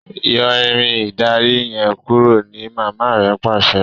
Yọ Irin ìdarí yen kúrò! ní mama rẹ pàṣẹ.